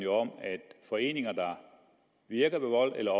om at foreninger der virker ved vold eller